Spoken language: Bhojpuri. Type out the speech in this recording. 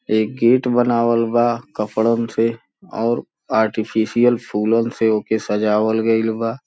एक गेट बनावल बा कपड़न से और आर्टिफिशियल फूलन से ओके सजावल गईल बा।